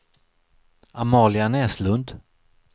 Amalia Näslund